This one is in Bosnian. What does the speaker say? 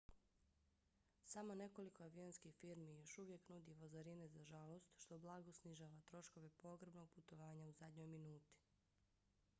samo nekoliko avionskih firmi još uvijek nudi vozarine za žalost što blago snižava troškove pogrebnog putovanja u zadnjoj minuti